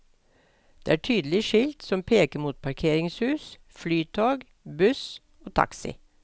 Det er tydelige skilt, som peker mot parkeringshus, flytog, buss og taxi.